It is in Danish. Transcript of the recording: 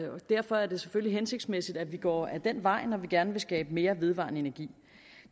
derfor er det selvfølgelig hensigtsmæssigt at vi går ad den vej når vi gerne vil skabe mere vedvarende energi